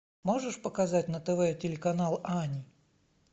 можешь показать на тв телеканал ани